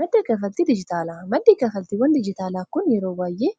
madda kaffaltii dijitaalaa maddii kalfaltiiwwan dijitaalaa kun yeroo baay'ee